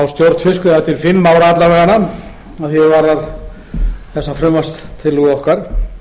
á stjórn fiskveiða til fimm ára alla vega að því er varðar þessa frumvarpstillögu okkar